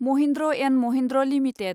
Mahindra and Mahindra limited